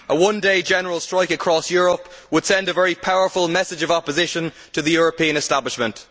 A one day general strike across Europe would send a very powerful message of opposition to the European establishment.